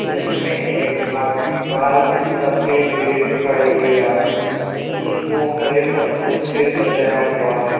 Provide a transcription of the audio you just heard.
उसमें एक आदमी बाल कटाते हुए दिखाई दे रहा है उसको हरे पत्तों से सजाया हुआ है।